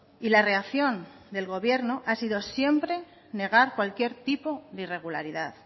y la reacción del gobierno ha sido siempre negar